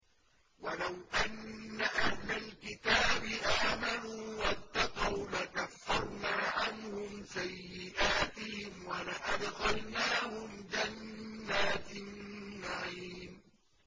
وَلَوْ أَنَّ أَهْلَ الْكِتَابِ آمَنُوا وَاتَّقَوْا لَكَفَّرْنَا عَنْهُمْ سَيِّئَاتِهِمْ وَلَأَدْخَلْنَاهُمْ جَنَّاتِ النَّعِيمِ